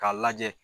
K'a lajɛ